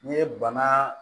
N'i ye bana